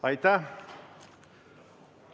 Aitäh!